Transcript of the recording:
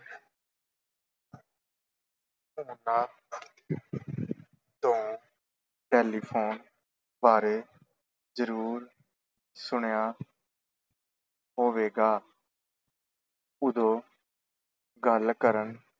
ਉਨ੍ਹਾਂ ਤੋਂ ਟੈਲੀਫੋਨ ਬਾਰੇ ਜ਼ਰੂਰ ਸੁਣਿਆ ਹੋਵੇਗਾ ਉਦੋਂ ਗੱਲ ਕਰਨ